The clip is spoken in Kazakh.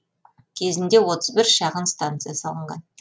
кезінде отыз бір шағын станция салынған